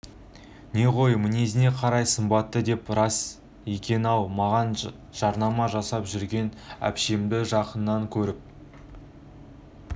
не ғой мінезіне қарай сымбаты деген рас екен анау маған жарнама жасап жүрген әпшемді жақыннан көріп